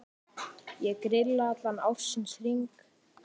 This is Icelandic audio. Ég grilla allan ársins hring.